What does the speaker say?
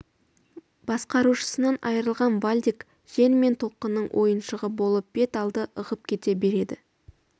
басқарушысынан айрылған вальдек жел мен толқынның ойыншығы болып бет алды ығып кете береді